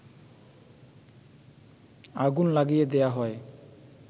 আগুন লাগিয়ে দেয়া হয়